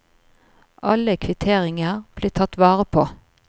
Alle kvitteringer blir tatt vare på.